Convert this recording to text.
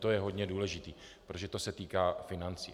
To je hodně důležité, protože to se týká financí.